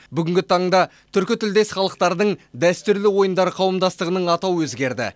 бүгінгі таңда түркі тілдес халықтардың дәстүрлі ойындары қауымдастығының атауы өзгерді